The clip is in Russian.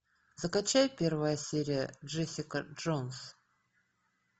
закачай первая серия джессика джонс